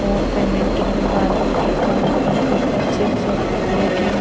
और पेमेंट के लिए बारकोड रखा हुआ है ऊपर चिप्स और कुरकुरे के--